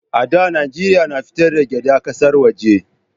A da Najeriya na fitar da gyada ƙasar waje